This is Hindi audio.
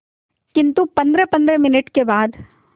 किंतु पंद्रहपंद्रह मिनट के बाद